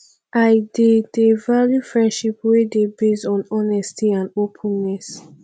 i dey dey value friendship wey dey based on honesty and openness